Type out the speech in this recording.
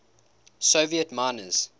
soviet miners